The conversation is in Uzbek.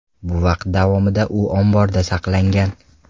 Bu vaqt davomida u omborda saqlangan.